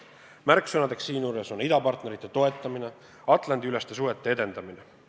Märksõnadeks siinjuures on idapartnerite toetamine ja Atlandi-üleste suhete edendamine.